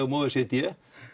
o e c d